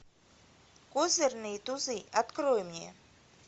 козырные тузы открой мне